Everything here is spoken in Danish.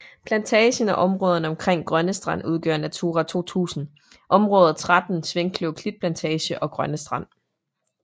Plantagen og områderne omkring Grønnestrand udgør Natura 2000 område 13 Svinkløv Klitplantage og Grønne Strand